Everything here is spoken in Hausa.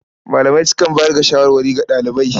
Malamai sukan bayar da shawarwari ga ɗalibai.